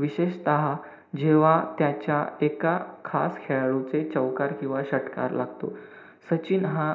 विशेषतः जेव्हा त्याच्या एका खास खेळाडूचे चौकार किंवा षटकार लागतो. सचिन हा